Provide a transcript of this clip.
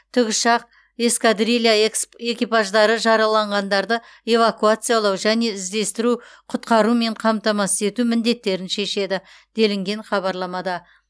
тікұшақ эскадрилья экипаждары жараланғандарды эвакуациялау және іздестіру құтқарумен қамтамасыз ету міндеттерін шешеді делінген хабарламада